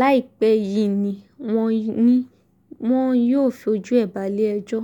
láìpẹ́ yìí ni wọ́n ní wọn yóò fojú ẹ̀ balẹ̀-ẹjọ́